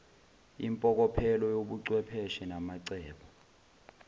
impokophelo yobuchwepheshe namacebo